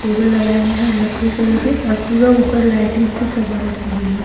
Table लगाए गए हैं और लकड़ी कलर के और पूरा ऊपर लाइटिंग से सजावट की गई है।